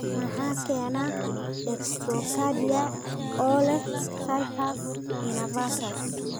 Maxaa keena dextrocardia oo leh situs inversus?